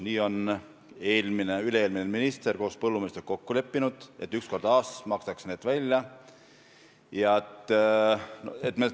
Nii on eelmine ja üle-eelmine minister põllumeestega kokku leppinud, et üks kord aastas makstakse need toetused välja.